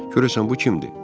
Görəsən bu kimdir?